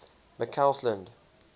mccausland